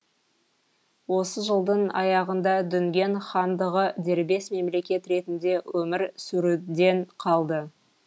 осы жылдың аяғында дүнген хандығы дербес мемлекет ретінде өмір сүруден қалды